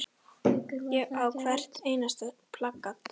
Ég á hvert einasta plakat.